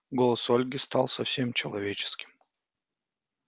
голос ольги стал совсем человеческим